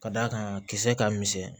Ka d'a kan kisɛ ka misɛn